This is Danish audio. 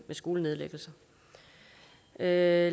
med skolenedlæggelser lad